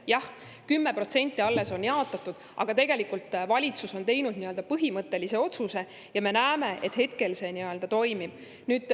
Jah, alles 10% on jaotatud, aga valitsus on teinud nii-öelda põhimõttelise otsuse ja me näeme, et see toimib.